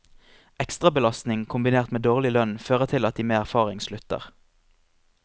Ekstrabelastning kombinert med dårlig lønn fører til at de med erfaring slutter.